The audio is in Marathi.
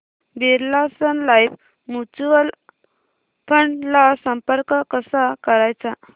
Birla Sun Life mutual fund ला संपर्क कसा करायचा